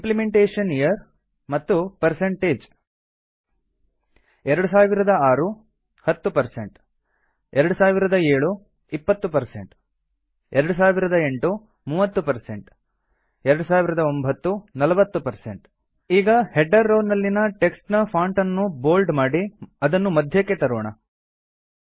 implementation year ಮತ್ತು160 2006 10 2007 20 2008 30 2009 40 ಈಗ header row ನಲ್ಲಿನ ಟೆಕ್ಸ್ಟ್ ನ ಫಾಂಟ್ ಅನ್ನು ಬೋಲ್ಡ್ ಮಾಡಿ ಅದನ್ನು ಮಧ್ಯಕ್ಕೆ ತರೋಣ